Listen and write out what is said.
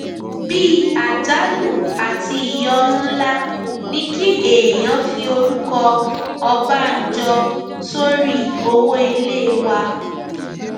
bíi àjálù àti ìyọnu ńlá ni kí èèyàn fi orúkọ ọbànjọ sórí owó ilé wa